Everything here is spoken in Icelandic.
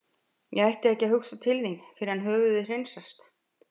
Ég ætti ekki að hugsa til þín fyrr en höfuðið hreinsast.